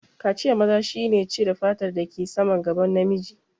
Kaciyan maza shi ne cire fatar da ke saman gaban namiji